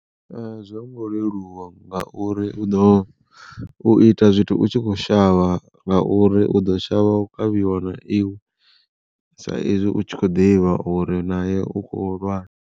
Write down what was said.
A zwo ngo leluwa ngauri u ḓo u ita zwithu u tshi kho shavha ngauri u ḓo shavha u kavhiwa na iwe sa izwi u tshi kho ḓivha uri naye u khou lwala.